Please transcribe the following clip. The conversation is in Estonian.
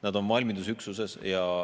Nad on valmidusüksuses.